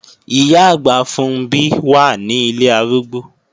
Ìyá-àgbà Funbí wà ní ilé arúgbó